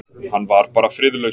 Hann var bara friðlaus.